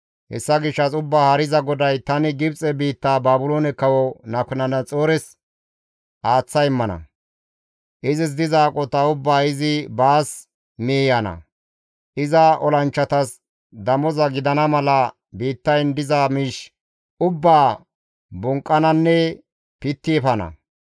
Hessa gishshas Ubbaa Haariza GODAY, ‹Tani Gibxe biitta Baabiloone Kawo Nabukadanaxoores aaththa immana; izis diza aqota ubbaa izi baas miiyana; iza olanchchatas damoza gidana mala biittayn diza miish ubbaa bonqqananne pitti efana.